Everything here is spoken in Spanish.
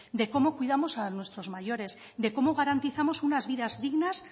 de cómo cuidamos a nuestros mayores de cómo garantizamos unas vidas dignas